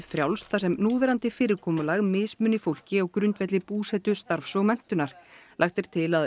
frjálst þar sem núverandi fyrirkomulag mismuni fólki á grundvelli búsetu starfs og menntunar lagt er til að